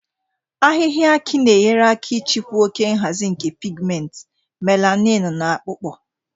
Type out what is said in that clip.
Ahịhịa aki na-enyere aka ịchịkwa oke nhazi nke pigmenti, melanin na akpụkpọ